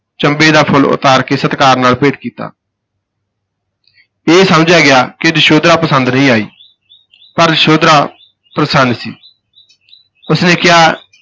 ਚੰਬੇ ਦਾ ਫੁੱਲ ਉਤਾਰ ਕੇ ਸਤਿਕਾਰ ਨਾਲ ਭੇਟ ਕੀਤਾ ਇਹ ਸਮਝਿਆ ਗਿਆ ਕਿ ਯਸ਼ੋਧਰਾ ਪੰਸਦ ਨਹੀਂ ਆਈ ਪਰ ਯਸ਼ੋਧਰਾ ਪ੍ਰਸੰਨ ਸੀ ਉਸ ਨੇ ਕਿਹਾ